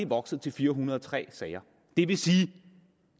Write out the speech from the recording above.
vokset til fire hundrede og tre sager det vil sige